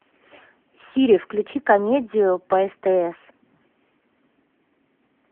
сири включи комедию по стс